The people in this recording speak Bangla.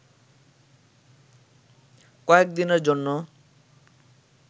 কয়েক দিনের জন্য